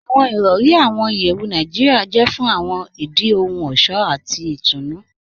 Awọn irọ̀ri ní awọn ìyẹwù Naijiria jẹ̀ fún awọn ìdí ohun ọṣọ̀ àti ìtúnu.